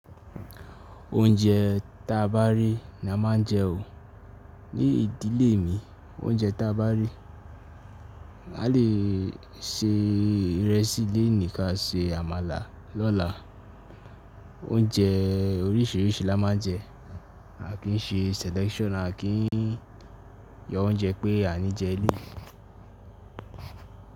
Oúnjẹ tàbá rí ni a máa ń jẹ o. Ní ìdílé mi oúnjẹ tàbá rí, a lè se ìrẹsì léènì ká se àmàlà lọ́la. Oúnjẹ oríṣìíríṣìí làá má jẹ. A kì í ṣe selection, a kì í yọ oúnjẹ pé a ní jẹ eleyi.